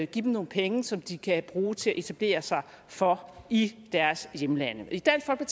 give dem nogle penge som de kan bruge til at etablere sig for i deres hjemlande i dansk